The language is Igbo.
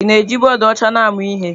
Ị na-eji bọọdụ ọcha na-amụ ihe?